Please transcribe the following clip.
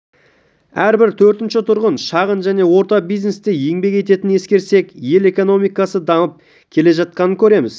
әрбір төртінші тұрғын шағын және орта бизнесте еңбек ететінін ескерсек ел экономикасы дамып келе жатқанын көреміз